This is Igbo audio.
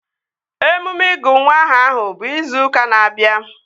Emume ịgụ nwa aha ahụ bụ izu ụka na-abịa